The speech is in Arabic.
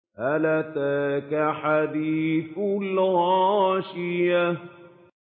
هَلْ أَتَاكَ حَدِيثُ الْغَاشِيَةِ